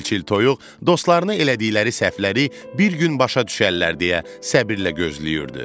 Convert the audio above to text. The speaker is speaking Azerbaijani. Çil-çil toyuq dostlarını elədikləri səhvləri bir gün başa düşərlər deyə səbrlə gözləyirdi.